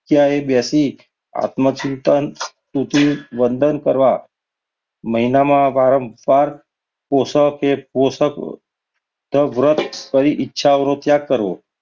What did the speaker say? જગ્યાએ બેસી આત્મચિંતન વંદન કરવા મહિનામાં વારંવાર પોષકે પોશાક વ્રત કરી ઈચ્છાઓ નો ત્યાગ કરવો.